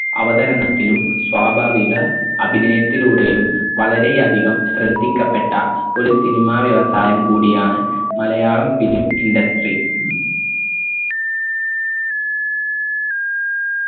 അവതരണത്തിലും സ്വാഭാവിക അഭിനയത്തിലൂടെയും വളരെ അധികം ശ്രദ്ധിക്കപ്പെട്ട ഒരു സിനിമ വ്യവസായം കൂടിയാണ് മലയാളം film industry